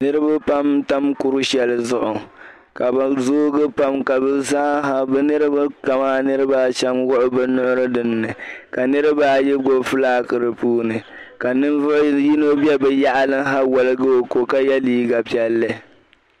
Niriba pam n tam kuri shɛli zuɣu ka bɛ zoogi pam ka bɛ zaaha bɛ niriba ka mani niriba a shɛm wuɣi bɛ nyuɣiri dinni ka niriba ayi gbubi flak di puuni ka ninvuɣ'yino be bɛ yaɣili ha waligi o ko ka yɛ liiga piɛlli